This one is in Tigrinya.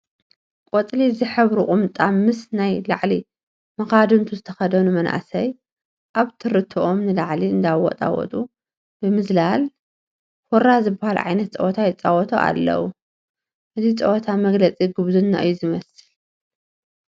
ቆፂል ዝሕብሩ ቁምጣ ምስ ናይ ላዕሊ መኻድንቱ ዝተኸደኑ መናእሰይ ኣብትርቶም ንላዕሊ እንዳወጣወጡ ብምዝላል ሁራ ዝበሃል ዓይነት ፀወታ ይፃወቱ ኣለዉ፡፡ እዚ ፀወታ መግለፂ ጉብዝና እዩ ዝመስል፡፡